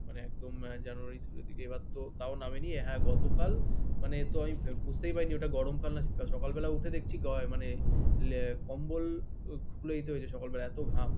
মানে একদম জানুয়ারিতে এবার তো তাও নামে নি গতকাল বুঝতেই পারিনি ঐটা গরমকাল না শীতকাল সকালবেলা উঠে দেখছি কম্বল সকালবেলা এত ঘাম